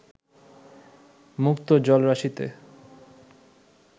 মুক্ত জলরাশিতে